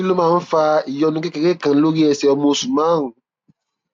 kí ló máa ń fa ń fa ìyọnu kékeré kan lórí ẹsè ọmọ oṣù márùnún